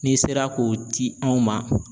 N'i sera k'o di anw ma.